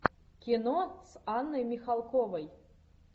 кино с анной михалковой